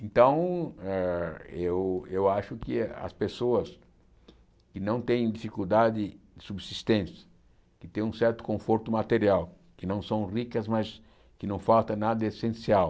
Então, ah eu eu acho que as pessoas que não têm dificuldade de subsistência, que têm um certo conforto material, que não são ricas, mas que não falta nada essencial,